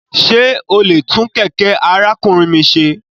Ṣe o le tun kẹkẹ arakunrin mi ṣe?